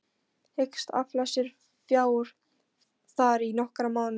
Hyggst afla sér fjár þar í nokkra mánuði.